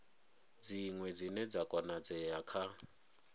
dziṅwe dzine dza konadzea kha